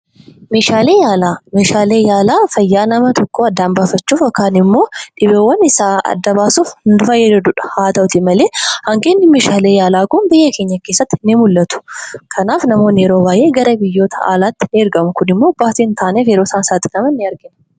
Meeshaaleen yaalaa fayyaa nama tokkoo adda baasuu yookin immoo dhibeewwan isaa adda baasuuf kan nu fayyadudha. Haa ta'uuti malee hanqinni meeshaalee yaalaa kun biyya keenya keessatti ni mul'atu. Kanaaf namoonni baay'een gara biyya alaatti ni ergamu kunimmoo baasii baay'eef kan isaan saaxiludha.